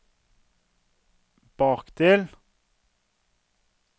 bakdel